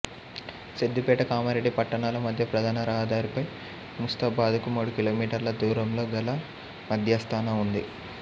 సిద్దిపేట కామరెడ్డి పట్టణాల మధ్య ప్రధాన రహదారిపై ముస్తాబాదుకు మూడు కిలోమీటర్ల దూరంలో గల మధ్యస్థన ఉంది